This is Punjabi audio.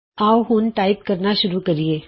ਆਉ ਹੁਣ ਟਾਈਪ ਕਰਨਾ ਸ਼ੁਰੂ ਕਰੀਏ